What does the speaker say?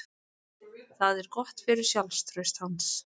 Það er gott fyrir sjálfstraust hans.